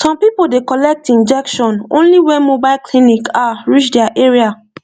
some people dey collect injection only when mobile clinic ah reach their area